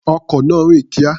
Ọkọ̀ náà rìn kíá.